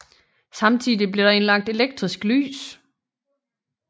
Samtidig blev der indlagt elektrisk lys